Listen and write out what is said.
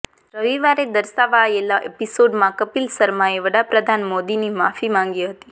રવિવારે દર્શાવાયેલા એપિસોડમાં કપિલ શર્માએ વડાપ્રધાન મોદીની માફી માંગી હતી